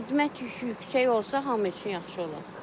Xidmət yükü yüksək olsa hamı üçün yaxşı olar.